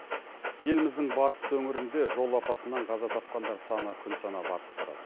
еліміздің батыс өңірінде жол апатынан қаза тапқандар саны күн санап артып барады